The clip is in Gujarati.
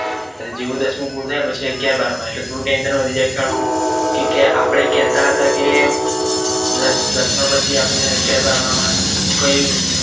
પછી જેવું દસનું પૂરું થાય પછી અગિયાર બાર માં એટલે થોડું tension વધી જાય કે હલુ આપડે કેહતા કે દસમા પછી આપદને અગિયાર બારમાં માં કઈ